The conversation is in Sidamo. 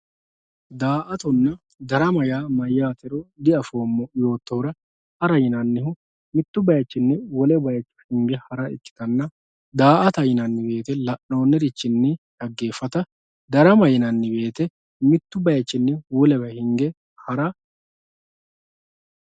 Daa"attonna, darama maatiro diafoommo yoottohura ,hara yinanihu mitu bayichini wole bayicho hinge hara ikkittanna daa"atta yinanni woyte la'nonnikkiricho dhaggefatta ,darama yineemmo woyte mitu bayichini wolewa hinge hara.